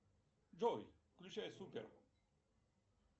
джой включай супер